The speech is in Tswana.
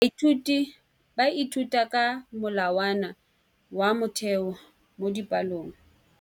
Baithuti ba ithuta ka molawana wa motheo mo dipalong.